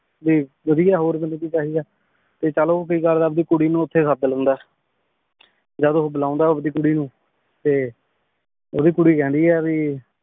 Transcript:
ਭੀ ਵਾਦਿਯ ਹੋਰ ਮੇਨੂ ਕੀ ਚਾਹੀ ਦਾ ਆਯ ਤੇ ਚਲ ਊ ਕੀ ਕਰਦਾ ਆਪਣੀ ਕੁਰੀ ਨੂ ਓਥੇ ਸਦ ਲੇੰਦਾ ਆਯ ਜਦ ਓਹ ਬੁਲਾਂਦਾ ਆਪਦੀ ਕੁਰੀ ਨੂ ਤੇ ਓੜੀ ਕੁਰੀ ਕੇਹ੍ਨ੍ਦੀ ਆਯ ਭੀ